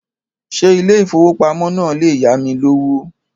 Ṣé ilé ìfowópamọ́ náà le yámi lówó?